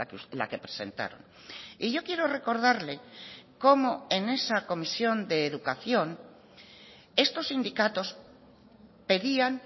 es la que presentaron y yo quiero recordarle cómo en esa comisión de educación estos sindicatos pedían